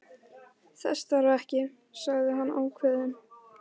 Þess þarf ekki, sagði hann ákveðinn.